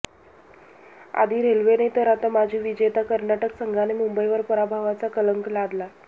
आधी रेल्वेने तर आता माजी विजेत्या कर्नाटक संघाने मुंबईवर पराभवाचा कलंक लादला